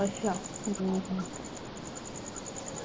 ਅੱਛਾ